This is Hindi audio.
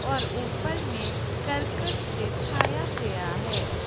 और ऊपर में करकट से छाया गया है।